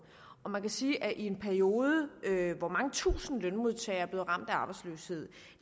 og man kan sige at i en periode hvor mange tusind lønmodtagere er blevet ramt af arbejdsløshed